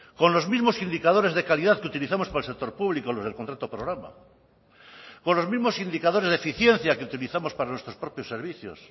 con los mismos indicadores de calidad que utilizamos para el sector público los del contrato programa con los mismos indicadores de eficiencia que utilizamos para nuestros propios servicios